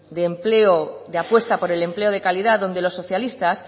de apuesta por el empleo de calidad donde los socialistas